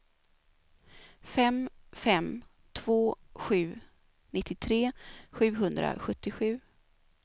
fem fem två sju nittiotre sjuhundrasjuttiosju